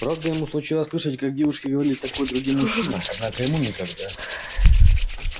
правда ему случалось слышать как девушки говорили такое другим мужчинам однако ему никогда